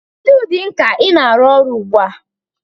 Kedu ụdị nka ị na-arụ ọrụ ugbu a?